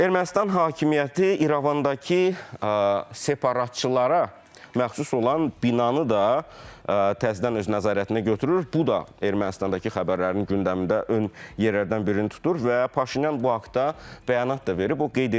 Ermənistan hakimiyyəti İrəvandakı separatçılara məxsus olan binanı da təzədən öz nəzarətinə götürür, bu da Ermənistandakı xəbərlərin gündəmində ön yerlərdən birini tutur və Paşinyan bu haqda bəyanat da verib, o qeyd edib ki, sitat.